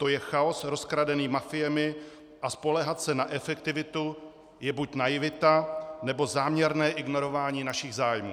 To je chaos rozkradený mafiemi a spoléhat se na efektivitu je buď naivita, nebo záměrné ignorování našich zájmů.